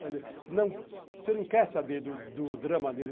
Você não quer saber do drama dele.